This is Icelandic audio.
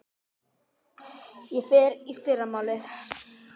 Ég fer í fyrramálið.